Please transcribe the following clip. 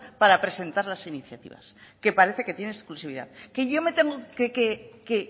para presentar las iniciativas que parece que tiene exclusividad que yo tengo que